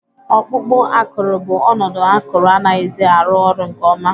Ọkpụkpụ akụrụ bụ ọnọdụ akụrụ anaghịzi arụ ọrụ nke ọma